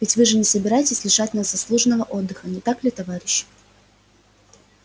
ведь вы же не собираетесь лишать нас заслуженного отдыха не так ли товарищи